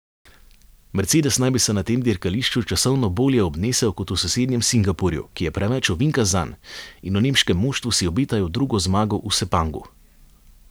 Mercedes naj bi se na tem dirkališču časovno bolje obnesel kot v sosednjem Singapurju, ki je preveč ovinkast zanj, in v nemškem moštvu si obetajo drugo zmago v Sepangu.